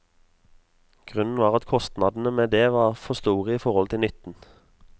Grunnen var at kostnadene med det var for store i forhold til nytten.